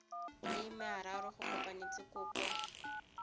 le mararo go konosetsa kopo